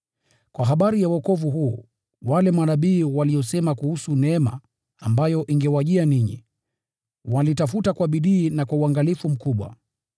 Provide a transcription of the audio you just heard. Kwa habari ya wokovu huu, wale manabii waliosema kuhusu neema ambayo ingewajia ninyi, walitafuta kwa bidii na kwa uangalifu mkubwa,